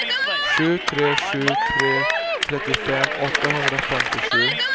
sju tre sju tre trettiofem åttahundrafemtiosju